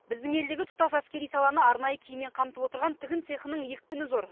біздің елдегі тұтас әскери саланы арнайы киіммен қамтып отырған тігін цехының екпіні зор